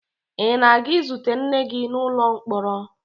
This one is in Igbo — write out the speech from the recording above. Ị na-aga izute nna gị n'ụlọ mkpọrọ?